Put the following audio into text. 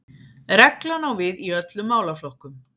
Reglan á við í öllum málaflokkum